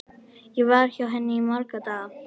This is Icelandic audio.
Ég var hjá henni í marga daga.